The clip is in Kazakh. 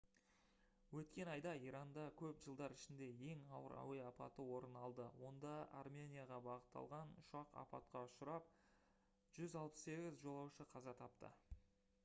өткен айда иранда көп жылдар ішіндегі ең ауыр әуе апаты орын алды онда арменияға бағытталған ұшақ апатқа ұшырап 168 жолаушы қаза тапты